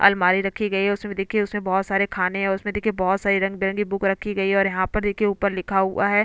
अलमारी रखी गयी है उसमे देखिये उसमें बहोत सारे खाने हैं उसमे देखिये बहोत सारी रंगीबिरंगी बुक रखी गयी है और यहाँ पे देखिये ऊपर लिखा हुआ है।